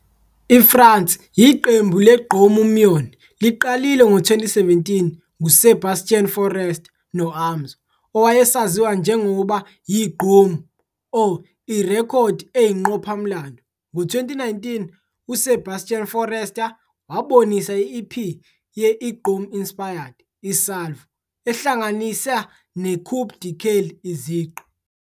IFrance, iqembu le-Gqommunion liqalile ngo-2017 nguSebastien Forrester no-Amzo, owayesaziwa njengoba yi-Gqom Oh!, irekhodi eyinqopha-mlando. Ngo-2019, uSebastien Forrester wabonisa i-EP ye-Iggom inspired, i-"Salvo", ehlanganisa ne-coupé-décalé, izigqi.